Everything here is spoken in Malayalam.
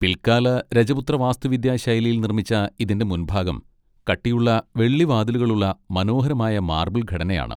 പിൽക്കാല രജപുത്ര വാസ്തുവിദ്യാ ശൈലിയിൽ നിർമ്മിച്ച ഇതിന്റെ മുൻഭാഗം കട്ടിയുള്ള വെള്ളി വാതിലുകളുള്ള മനോഹരമായ മാർബിൾ ഘടനയാണ്.